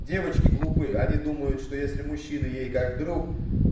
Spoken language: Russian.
девочки глупые они думают что если мужчины ей как друг